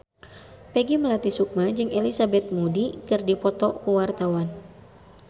Peggy Melati Sukma jeung Elizabeth Moody keur dipoto ku wartawan